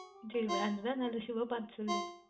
சரி Branded அஹ் நன்றாக Shoe வை பார்த்து சொல்